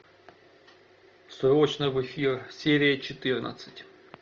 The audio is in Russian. срочно в эфир серия четырнадцать